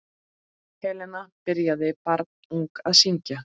Helena byrjaði barnung að syngja.